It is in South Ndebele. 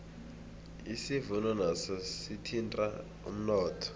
isivuno naso sithinta umnotho